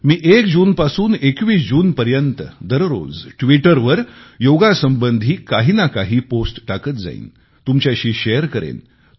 मी 01 जूनपासून 21 जूनपर्यंत दररोज ट्विटर वर योगासंबंधी काही ना काही पोस्ट टाकत जाईन तुमच्याशी शेअर करेन